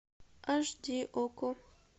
аш ди окко